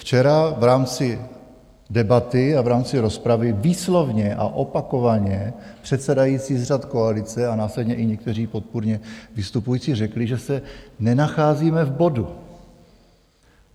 Včera v rámci debaty a v rámci rozpravy výslovně a opakovaně předsedající z řad koalice a následně i někteří podpůrně vystupující řekli, že se nenacházíme v bodu.